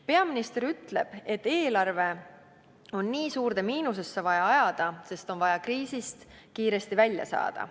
Peaminister ütleb, et eelarve on nii suurde miinusesse vaja ajada, sest on vaja kriisist kiiresti välja saada.